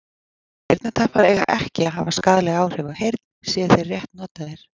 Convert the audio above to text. Eyrnatappar eiga ekki að hafa skaðleg áhrif á heyrn séu þeir rétt notaðir.